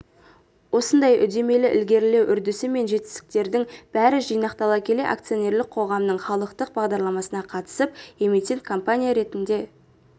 осындай үдемелі ілгерілеу үрдісі мен жетістіктердің бәрі жинақтала келе акционерлік қоғамның халықтық бағдарламасына қатысып эмитент-компания ретінде